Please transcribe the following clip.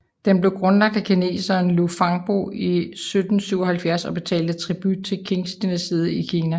Den blev grundlagt af kineseren Luo Fangbo i 1777 og betalte tribut til Qingdynastiet i Kina